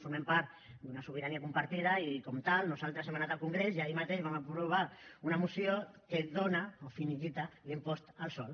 formem part d’una sobirania compartida i com a tal nosaltres hem anat al congrés i ahir mateix vam aprovar una moció que dóna o liquida l’impost al sòl